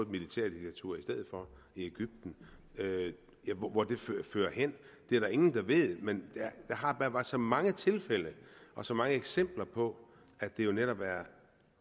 militærdiktatur i stedet for i egypten hvor det fører hen er der ingen der ved men der har bare været så mange tilfælde og så mange eksempler på at det jo netop